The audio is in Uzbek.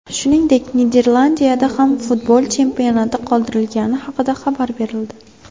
Shuningdek, Niderlandiyada ham futbol chempionati qoldirilgani haqida xabar berildi .